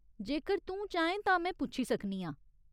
जेकर तूं चाहें तां में पुच्छी सकनी आं।